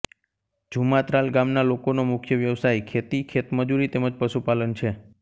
જુમાત્રાલ ગામના લોકોનો મુખ્ય વ્યવસાય ખેતી ખેતમજૂરી તેમ જ પશુપાલન છે